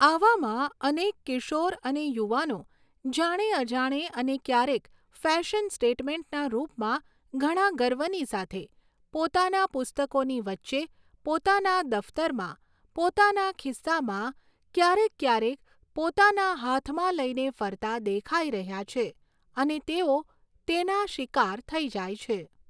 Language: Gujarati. આવામાં, અનેક કિશોર અને યુવાનો જાણે અજાણે અને ક્યારેક ફૅશન સ્ટેટમેન્ટના રૂપમાં ઘણા ગર્વની સાથે પોતાના પુસ્તકોની વચ્ચે, પોતાના દફ્તરમાં, પોતાના ખિસ્સામાં, ક્યારેક ક્યારેક પોતાના હાથમાં લઈને ફરતા દેખાઈ રહ્યા છે અને તેઓ તેના શિકાર થઈ જાય છે.